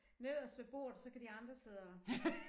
Nederst ved bordet så kan de andre sidde og